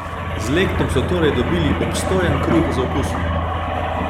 Z lectom so torej dobili obstojen kruh z okusom.